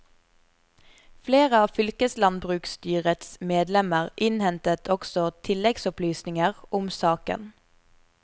Flere av fylkeslandbruksstyrets medlemmer innhentet også tilleggsopplysninger om saken.